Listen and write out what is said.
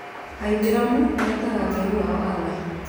Aithĩramuetaga Ngai wao Allah.